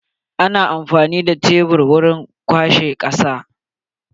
Ana amfani da shebur wajen kwashe kasa.